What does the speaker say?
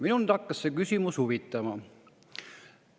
Mind hakkas see küsimus huvitama.